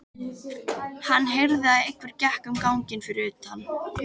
Hann heyrði að einhver gekk um ganginn fyrir utan.